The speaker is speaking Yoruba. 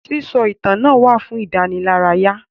Sísọ ìtàn náà wà fún ìdánilárayá.